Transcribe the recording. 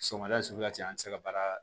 Sɔgɔmada suguya cɛ an tɛ se ka baara